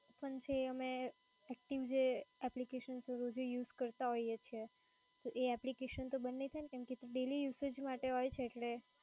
એ પણ છે અને જે applications રોજે use કરતાં હોઈએ છીએ તો એ application તો બંધ ન થાય ને? કેમ કે daily usage માટે હોય છે એટલે.